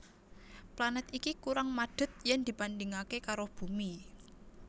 Planèt iki kurang madhet yen dibandhingaké karo Bumi